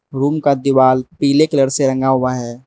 Room का दीवाल पीले कलर से रंगा हुआ है।